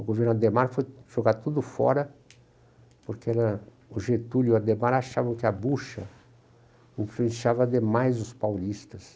O governo Adhemar foi jogado tudo fora, porque o Getúlio e o Adhemar achavam que a bocha influenciava demais os paulistas.